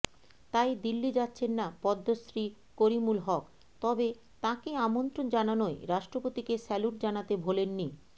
তাই দিল্লি যাচ্ছেন না পদ্মশ্রী করিমুল হক তবে তাঁকে আমন্ত্রণ জানানোয় রাষ্ট্রপতিকে স্যালুট জানাতে ভোলেননি